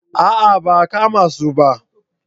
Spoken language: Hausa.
A'a ba a kama su ba